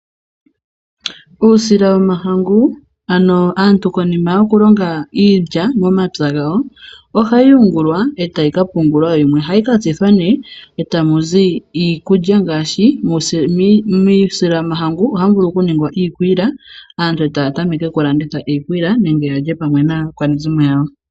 Uusila wo mahangu, ano aantu konima yo kulonga iilya mo mapya ga wo, ohayi yu ngulwa, yimwe etayi ka pungulwa. Yimwe ohayi ka tsithwa nee, eta muzi iikulya ngaashi muusila wo mahangu ohamu vulu oku ningwa iikwiila, aantu etaya ta meke okulanda iikwiila nenge ya lye pwame naa kwanezi mo yawo.